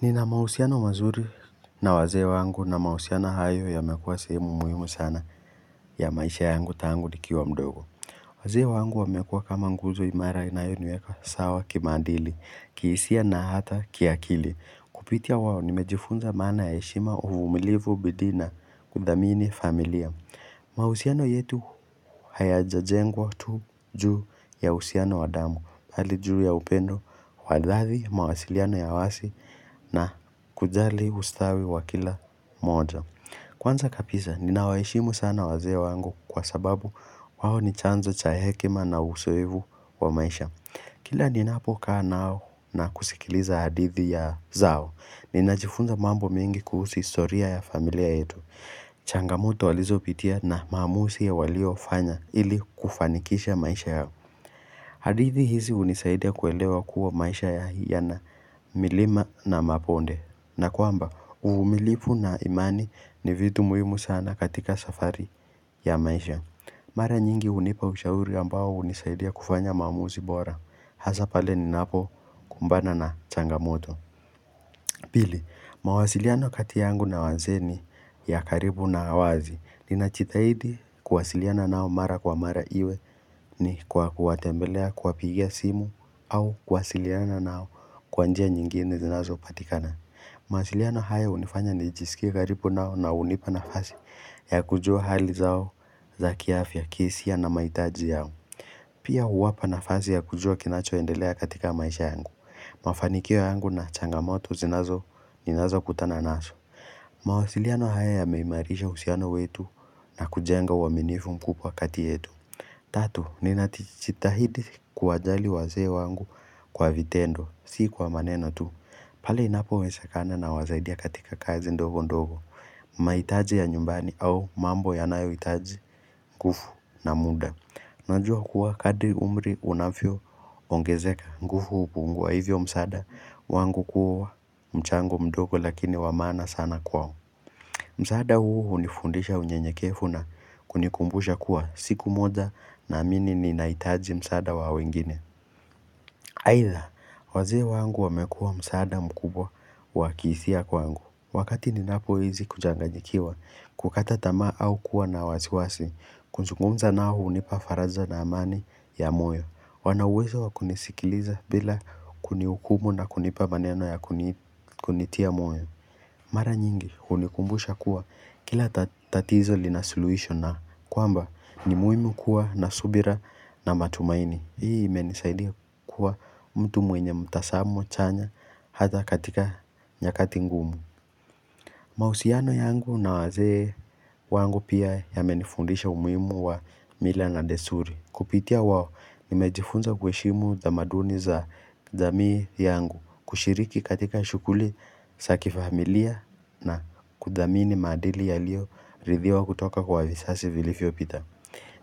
Nina mahusiano mazuri na wazee wangu na mahusiano hayo yamekuwa sehemu muhimu sana ya maisha yangu tangu nikiwa mdogo. Wazee wangu wamekuwa kama nguzo imara inayoniweka sawa kimaadili, kihisia na hata kiakili. Kupitia wao, nimejifunza maana ya heshima, uvumilivu bidii na kudhamini familia. Mahusiano yetu hayajajengwa tu juu ya uhusiano wa damu. Hali juu ya upendo, wa dhati, mawasiliano ya wazi na kujali ustawi wa kila moja Kwanza kabisa, ninawaheshimu sana wazee wangu kwa sababu, wao ni chanzo cha hekima na uzoevu wa maisha. Kila ninapokaa nao na kusikiliza hadithi zao, ninajifunza mambo mingi kuhusi historia ya familia yetu. Changamoto walizopitia na mamuuzi waliofanya ili kufanikisha maisha yao. Hadithi hizi hunisaidia kuelewa kuwa maisha yana milima na mabonde, na kwamba uvumilivu na imani ni vitu muhimu sana katika safari ya maisha. Mara nyingi hunipa ushauri ambao hunisaidia kufanya mamuuzi bora. Hasa pale ninapo kumbana na changamoto. Pili, mawasiliano kati yangu na wazee ni ya karibu na wazi. Ninajitahidi kuwasiliana nao mara kwa mara iwe ni kwa kuwatembelea, kuwapigia simu au kuwasiliana nao kwa njia nyingine zinazopatikana. Mawasiliano haya hunifanya nijisikie karibu nao na hunipa nafasi ya kujua hali zao za kiafya, kihisia na mahitaji yao. Pia huwapa nafasi ya kujua kinachoendelea katika maisha yangu. Mafanikio yangu na changamoto ninazokutana nazo. Mawasiliano haya yameimarisha uhusiano wetu na kujenga uaminifu mkubwa kati yetu. Tatu, ninajitahidi kuwajali wazee wangu kwa vitendo, si kwa maneno tu. Pale inapowezekana nawasaidia katika kazi ndogo ndogo. Mahitaji ya nyumbani au mambo yanayohitaji nguvu na muda. Najua kuwa kadri umri unavyoongezeka nguvu hupungua hivyo msaada wangu kuwa mchango mdogo lakini wa maana sana kwao. Msaada huu hunifundisha unyenyekevu na kunikumbusha kuwa siku moja naamini ninahitaji msaada wa wengine. Aidha, wazee wangu wamekua msaada mkubwa wa kihisia kwangu. Wakati ninapohisi kuchanganyikiwa, kukata tamaa au kuwa na wasiwasi kuzungumza nao hunipa faraja na amani ya moyo. Wana uwezo wakunisikiliza bila kunihukumu na kunipa maneno ya kunitia moyo. Mara nyingi, hunikumbusha kuwa, kila tatizo linasuluhisho na kwamba, ni muhimu kuwa na subira na matumaini. Hii imenisaidia kuwa mtu mwenye mtazamo chanya hata katika nyakati ngumu. Mahusiano yangu na wazee wangu pia yamenifundisha umuhimu wa mila na desturi. Kupitia wao, nimejifunza kuheshimu tamaduni za jamii yangu. Kushiriki katika shughuli za kifamilia na kudhamini madili yaliyoridhiwa kutoka kwa vizazi vilivyopita.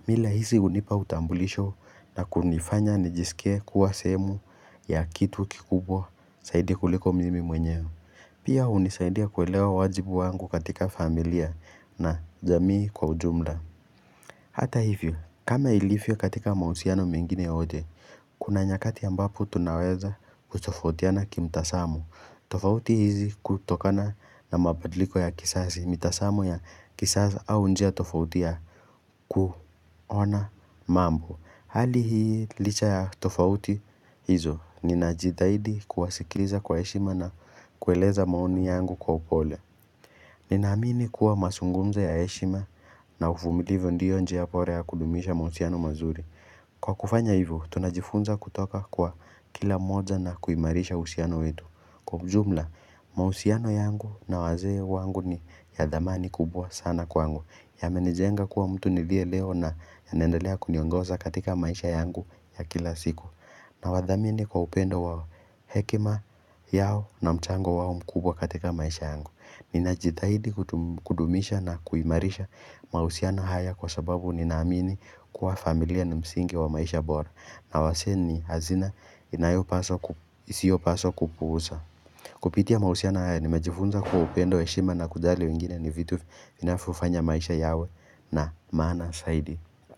Mila hizi hunipa utambulisho na kunifanya nijisike kuwa sehemu ya kitu kikubwa zaidi kuliko mimi mwenyewe. Pia, hunisaidia kuelewa wajibu wangu katika familia na jamii kwa ujumla. Hata hivyo, kama ilivyo katika mahusiano mengine yote, kuna nyakati ambapo tunaweza kutofautiana kimtazamo. Tofauti hizi hutokana na mabadiliko ya kizazi, mitazamo ya kisasa au njia tofauti ya kuona mambo. Hali hii licha ya tofauti hizo, ninajitahidi kuwasikiliza kwa heshima na kueleza maoni yangu kwa upole. Ninaamini kuwa mazungumzo ya heshima na uvumilivu ndiyo njia bora ya kudumisha mahusiano mazuri. Kwa kufanya hivyo, tunajifunza kutoka kwa kila mmoja na kuimarisha uhusiano wetu. Kwa ujumla, mahusiano yangu na wazee wangu ni ya dhamani kubwa sana kwangu. Yamenijenga kuwa mtu niliye leo na yanaendelea kuniongoza katika maisha yangu ya kila siku. Nawadhamini kwa upendo wao, hekima yao na mchango wao mkubwa katika maisha yangu. Ninajithahidi kudumisha na kuimarisha mahusiano haya kwa sababu ninaamini kuwa familia ni msingi wa maisha bora. Na wazee ni hazina isiyopaswa kupuuzwa. Kupitia mahusiano haya, nimejifunza kuwa upendo, heshima na kujali wengine ni vitu vinavyofanya maisha yawe na maana zaidi.